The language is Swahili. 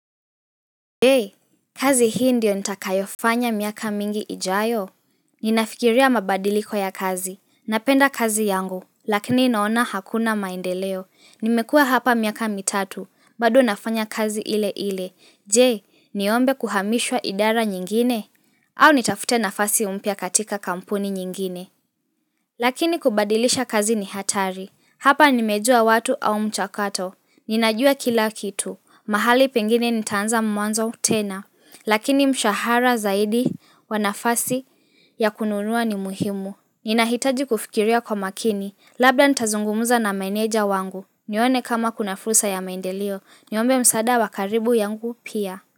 Je, kazi hii ndio nitakayofanya miaka mingi ijayo? Ninafikiria mabadiliko ya kazi. Napenda kazi yangu, lakini inaona hakuna maendeleo. Nimekua hapa miaka mitatu, bado nafanya kazi ile ile. Je, niombe kuhamishwa idara nyingine? Au nitafute nafasi umpya katika kampuni nyingine? Lakini kubadilisha kazi ni hatari. Hapa nimejua watu au mchakato. Ninajua kila kitu. Mahali pengine nitaanza mwanzo tena, lakini mshahara zaidi wanafasi ya kununua ni muhimu. Nina hitaji kufikiria kwa makini, labda ntazungumuza na manager wangu. Niyone kama kuna fursa ya maendeleo, niombe msada wakaribu yangu pia.